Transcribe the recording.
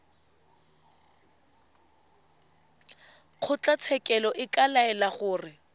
kgotlatshekelo e ka laela gore